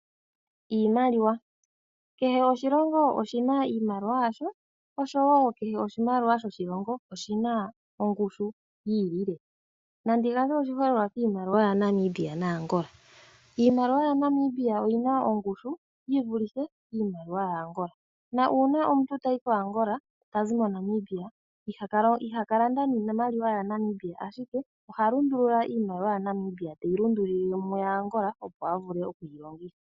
Iimaliwa, kehe oshilongo oshi na iimaliwa yasho osho wo kehe oshimaliwa shoshilongo oshi na ongushu yiilile. Nandi gandje oshiholelwa kiimaliwa yaNamibia naAngola. Iimaliwa yaNamibia oyi na ongushu yivulithe iimaliwa ya Angola, na uuna omuntu tayi ko Angola tazi mo Namibia iha ka landa niimaliwa ya Namibia ashike oha lundulula iimaliwa ya Namibia teyi lundululile miimaliwa ya Angola opo a vule okuyi longitha.